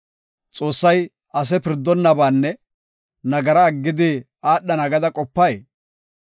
Xoossay ase pirdonnabaanne nagara aggidi aadhana gada qopay?